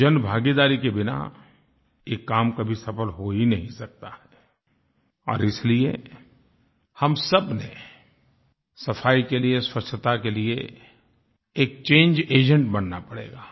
जन भागीदारी के बिना ये काम कभी सफल हो ही नहीं सकता है और इसलिए हम सबने सफाई के लिए स्वच्छता के लिए एक चंगे एजेंट बनना पड़ेगा